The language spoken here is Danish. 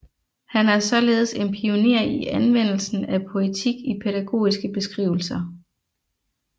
Han er således en pioner i anvendelsen af poetik i pædagogiske beskrivelser